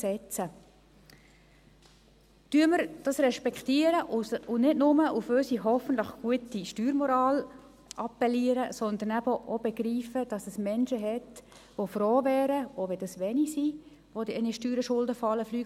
Respektieren wir dies, und appellieren wir nicht nur an unsere – hoffentlich gute – Steuermoral, sondern begreifen wir auch, dass es Menschen gibt, die froh wären, wenn man sie entlasten könnte.